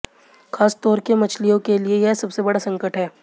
खासतौर से मछलियों के लिए यह सबसे बड़ा संकट है